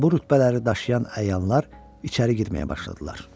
Və bu rütbələri daşıyan əyanlar içəri girməyə başladılar.